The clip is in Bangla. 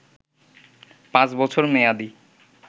পাঁচ বছর মেয়াদী